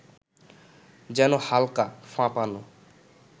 যেন হালকা, ফাঁপানো